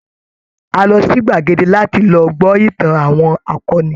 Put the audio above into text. A lọ sí gbàdege láti lọ gbọ́ ìtàn àwọn akọni.